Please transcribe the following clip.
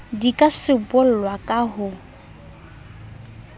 di ka sibollwa ka ho